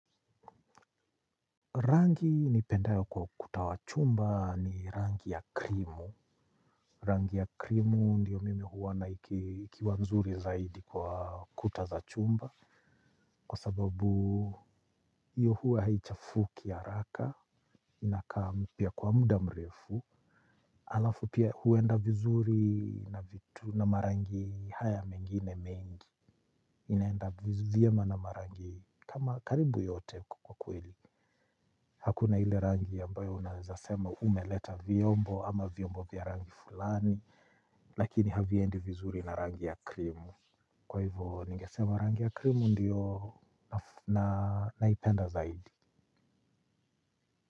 Rangi nipendayo kwa ukuta wa chumba ni rangi ya krimu. Rangi ya krimu ndiyo mimi huona ikiwa nzuri zaidi kwa kuta za chumba. Kwa sababu iyo hua haichafuki haraka. Inakaa mpya kwa muda mrefu. Alafu pia huenda vizuri na vitu na marangi haya mengine mengi. Inaenda vizu vyema na marangi kama karibu yote kwa kweli. Hakuna ile rangi yambayo unazasema umeleta viombo ama viombo vya rangi fulani. Lakini haviendi vizuri na rangi ya krimu. Kwa hivyo ningesema rangi ya krimu ndiyo naipenda zaidi.